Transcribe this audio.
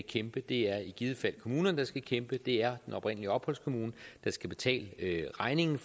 kæmpe det er i givet fald kommunerne der skal kæmpe det er den oprindelige opholdskommune der skal betale regningen